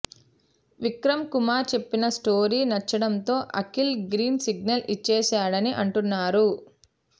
విక్రమ్ కుమార్ చెప్పిన స్టోరీ నచ్చడంతో Akhil green signal ఇచ్చేశాడని అంటున్నారు